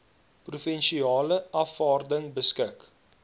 provinsiale afvaarding beskik